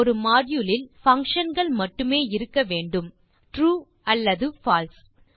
ஒரு மாடியூல் இல் பங்ஷன் கள் மட்டுமே இருக்க வேண்டும் ட்ரூ அல்லது பால்சே 3